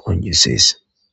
qonjisees.